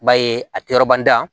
I b'a ye a tɛ yɔrɔ ban